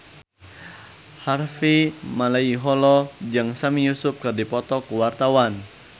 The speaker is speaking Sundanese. Harvey Malaiholo jeung Sami Yusuf keur dipoto ku wartawan